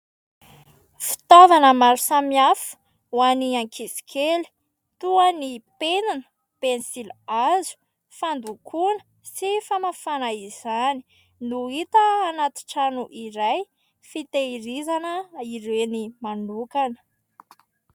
Fitaovana maro samihafa ho an'y ankizy kely toa ny penina, pensilihazo, fandokoana sy famafana izany no hita anatin-trano iray fitahirizana ireny manokana.